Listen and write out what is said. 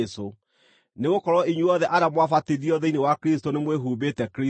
nĩgũkorwo inyuothe arĩa mwabatithirio thĩinĩ wa Kristũ nĩmwĩhumbĩte Kristũ.